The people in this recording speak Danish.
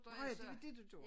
Nårh ja det var det du gjorde